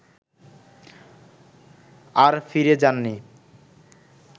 আর ফিরে যাননি